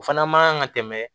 O fana man kan ka tɛmɛ